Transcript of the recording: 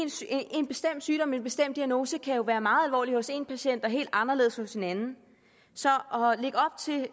en bestemt sygdom en bestemt diagnose kan jo være meget alvorlig hos en patient men helt anderledes hos en anden så